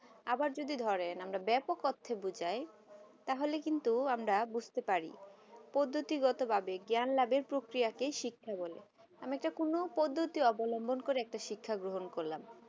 আবার যদি ধরেন আমরা ব্যাপক অর্থে বোঝাই তাহলে কিন্তু আমরা বুঝতে পারি প্রগতি গত ভাবে জ্ঞান লাভে প্রকিয়াকে শিক্ষা বলে আমি তো কোনো পদ্ধতি অবলম্ব একটা শিক্ষা গ্রহণ করলাম